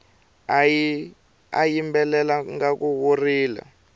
u yimbelela ngaku wo rila